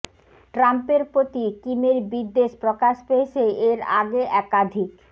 ট্রাম্পের প্রতি কিমের বিদ্বেষ প্রকাশ পেয়েছে এর আগে একাধিক